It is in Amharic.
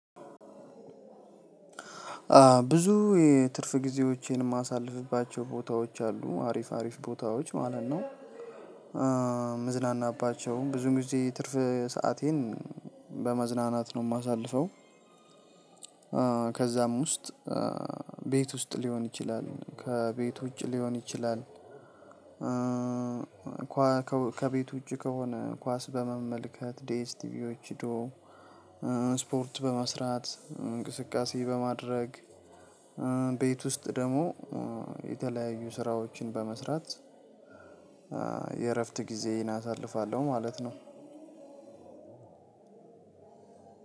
ብዙ የትርፍ ጊዜዎቼን የማሳልፍባቸው ቦታዎች አሉ አሪፍ አሪፍ ቦታዎች ማለት ነው። ምዝናናባቸው ብዙ ጊዜ ትርፍ ሰአቴን በመዝናናት ነው እማሳልፈው። ከዛም ውስጥ ቤት ውስጥ ሊሆን ይችላል ከቤት ውጭ ሊሆን ይችላል። ከቤት ውጭ ከሆነ ኳስ በመመልከት ዲኤስ ቲቪዎች ሂዶ ስፖርት በመስራት እንቅስቃሴ በማድረግ። ቤት ውስጥ ደግሞ የተለያዩ ስራዎችን በመስራት የእረፍት ጊዜየን አሳልፋለሁ ማለት ነው።